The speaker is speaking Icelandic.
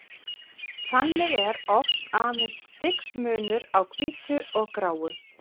Þannig er oft aðeins stigsmunur á hvítu og gráu.